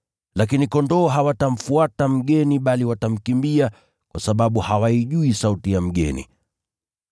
Lakini kondoo hawatamfuata mgeni bali watamkimbia, kwa sababu hawaijui sauti ya mgeni.”